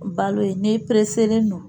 Balo ye n'i pereselen don